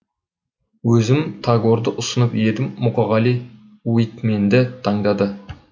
өзім тагорды ұсынып едім мұқағали уитменді таңдады